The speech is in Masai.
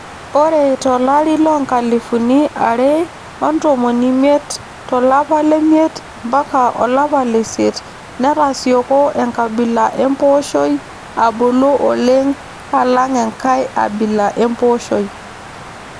Ore tolari loonkalifuni are otomon omiet to lapa le miet mpaka olapa leisiet netasioko enkabila empooshoi abulu oleng alang enkae abila empooshoi